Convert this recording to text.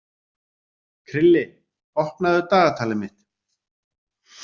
Krilli, opnaðu dagatalið mitt.